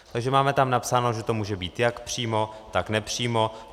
Takže tam máme napsáno, že to může být jak přímo, tak nepřímo.